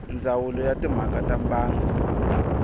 ndzawulo ya timhaka ta mbangu